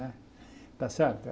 Né está certo?